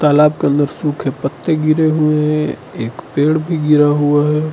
तालाब के अंदर सूखे पत्ते गिरे हुए एक पेड़ भी गिरा हुआ है।